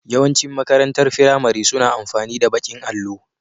Yawan cin makarantar firamare suna amfani da baƙin allo